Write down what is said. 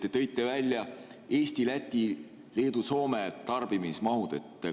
Te tõite välja Eesti, Läti, Leedu ja Soome tarbimismahud.